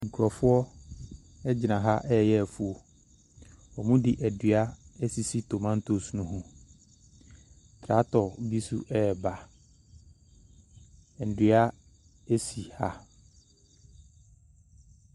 Nkurɔfoɔ egyina ha ɛyɛ afuo. Wɔn mo de adua esisi tomantos no ho. Truɔktɔ bi nso ɛba. Nnua esi ha.